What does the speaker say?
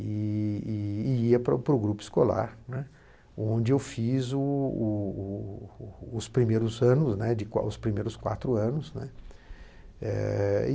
E e ia para para o grupo escolar, né, onde eu fiz o o o os primeiros anos, né, os primeiros quatro anos. E